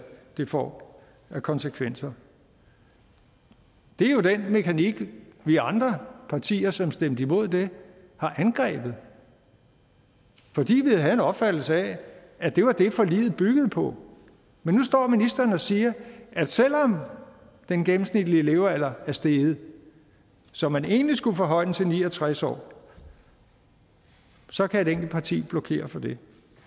det får af konsekvenser det er jo den mekanik vi andre partier som stemte imod det har angrebet fordi vi havde en opfattelse af at det var det forliget byggede på men nu står ministeren og siger at selv om den gennemsnitlige levealder er steget så man egentlig skulle forhøje den til ni og tres år så kan et enkelt parti blokere for det